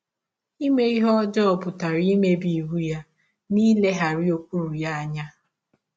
Ime ihe ọjọọ pụtara imebi iwụ ya na ileghara ụkpụrụ ya anya.